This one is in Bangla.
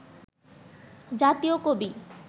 জাতীয় কবি